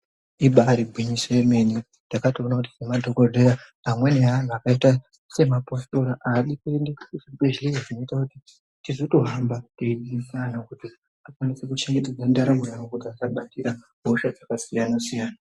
Ibari gwinyiso yemene takatoona kuti madhokodheya amweni anhu akaita semapositori aadi kuenda kuzvibhehlera zvinoita kuti tizotohamba teizotobvunzira kuti tikwanise kuchengetedza ndaramo yavo asabatira hosha dzakasiyana siyana.